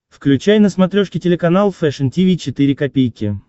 включай на смотрешке телеканал фэшн ти ви четыре ка